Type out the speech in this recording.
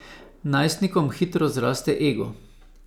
Najstnikom hitro zraste ego.